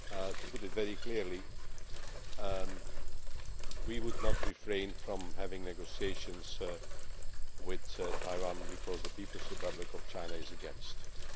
To put it very clearly, we would not refrain from having negotiations with Taiwan because the People's Republic of China is against this.